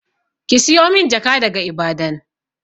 Ki siyo min jaka daga Ibadan!